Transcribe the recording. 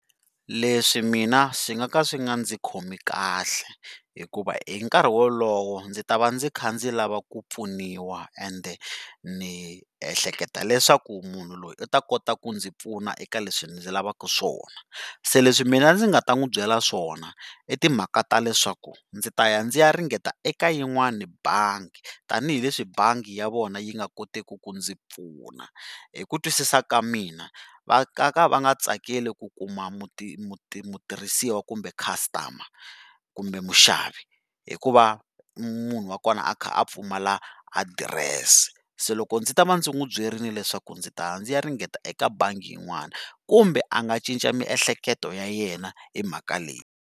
Leswi mina swi ka nga swi nga ndzi khomi kahle, hikuva hi nkarhi wolowo ndzi ta va ndzi kha ndzi lava ku pfuniwa ende ni ehleketa leswaku munhu loyi u ta kota ku ndzi pfuna eka leswi ndzi lavaka swona. Se leswi mina ndzi nga ta n'wi byela swona, i timhaka ta leswaku ndzi ta ya ndzi ya ringeta eka yin'wani bangi tanihileswi bangi ya vona yi nga koteki ku ndzi pfuna. Hi ku twisisa ka mina, va nga ka va nga tsakeli ku kuma mutirhisiwa kumbe customer kumbe muxavi hi ku va munhu wa kona a kha a pfumala adirese. Se loko ndzi ta va ndzi n'wi byerile leswaku ndzi ta ya ndzi ya ringeta eka bangi yin'wani, kumbe a nga cinca miehleketo ya yena hi mhaka leyi.